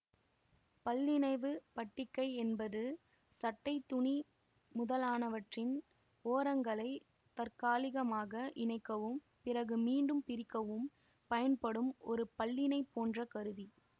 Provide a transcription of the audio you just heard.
பல்லிணைவுப் பட்டிகை என்பது சட்டை துணி முதலானவற்றின் ஓரங்களைத் தற்காலிகமாக இணைக்கவும் பிறகு மீண்டும் பிரிக்கவும் பயன்படும் ஒரு பல்லிணை போன்ற கருவி